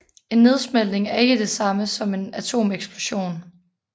En nedsmeltning er ikke det samme som en atomeksplosion